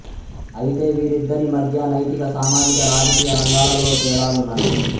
అయితే వీరిద్దరి మధ్య నైతిక సామాజిక రాజకీయ రంగాలలో తేడాలున్నాయి